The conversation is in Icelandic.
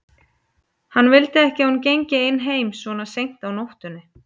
Hann vildi ekki að hún gengi ein heim svona seint á nóttunni.